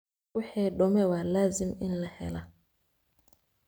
Wixi dume wa lazim in laheyla.